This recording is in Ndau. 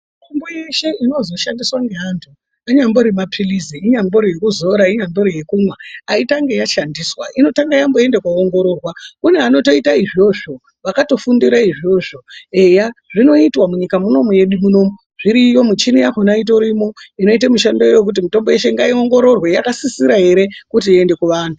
Mitombo yeshe inozoshandiswe ngeantu anyambori mapilizi ,inyambori yekuzora inyambori yekumwa .Aitangi yashandiswa ,inotamge yamboenda kundoongororwa. Kune anotoite izvozvo ,vakatofundira izvozvo .Zvinoitwa munyika munomu medu munomu. Muchini yakona itorimo inoite mushando iwoyo kuti mitombo yeshe ngaionhororwe. Yakasisira ere kuti iende kuvantu.